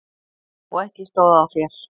Og ekki stóð á þér.